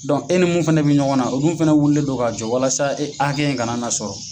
e ni mun fɛnɛ bɛ ɲɔgɔn na, olu fɛnɛ wulilen don k'a jɔ walasa e hakɛ in kana na sɔrɔ.